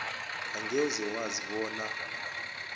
angeze wazi bona